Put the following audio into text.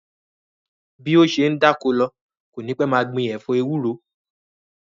Bí ó ṣe ń dáko lọ, kò ní pẹ́ máa gbin ẹ̀fọ́ ewúro